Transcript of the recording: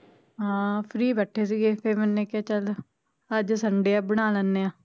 ਹਾਂ free ਬੈਠੇ ਸੀਗੇ ਫੇਰ ਮੈਨੇ ਕਿਹਾ ਚਲ ਅੱਜ sunday ਆ ਬਣਾ ਲੈਣੇ ਆ